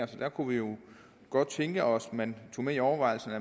der kunne vi jo godt tænke os at man tog med i overvejelserne